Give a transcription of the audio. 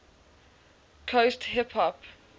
coast hip hop